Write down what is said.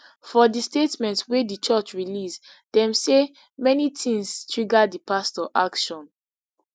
for di statement wey di church release dem say many tins trigger di pastor action